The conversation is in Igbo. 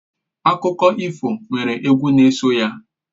Akụkọ ifo nwere egwu n'eso ya.